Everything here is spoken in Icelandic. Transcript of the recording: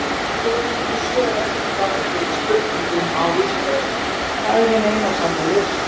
Skoðið einnig svör við eftirfarandi spurningum á Vísindavefnum Hvað er hin eina sanna list?